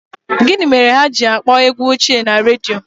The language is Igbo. Gịnị mere ha ji na-akpọ egwu ochie na redio?